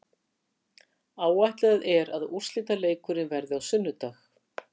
Áætlað er að úrslitaleikurinn verði á sunnudag.